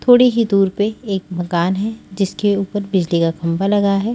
थोड़ी ही दूर पे एक मकान है जिसके ऊपर बिजली का खाबा लगा है।